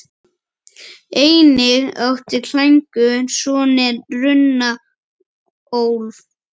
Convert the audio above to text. Einnig átti Klængur soninn Runólf.